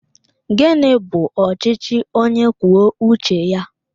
Gịnị bụ ọchịchị onye kwuo uche ya?